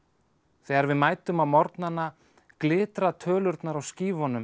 þegar við mætum á morgnana glitra tölurnar á